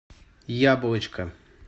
яблочко